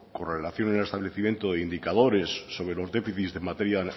con relación en el establecimiento de indicadores sobre los déficits de materia